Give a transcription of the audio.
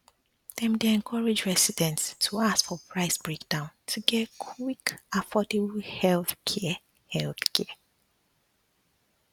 dem dey encourage residents to ask for price breakdown to get quick and affordable healthcare healthcare